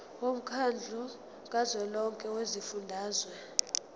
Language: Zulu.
womkhandlu kazwelonke wezifundazwe